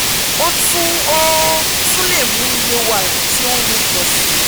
o tun o tun le mu iye wara ti o nru pọ si